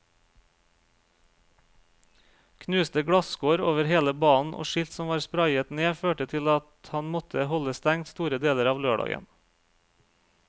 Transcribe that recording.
Knuste glasskår over hele banen og skilt som var sprayet ned førte til at han måtte holde stengt store deler av lørdagen.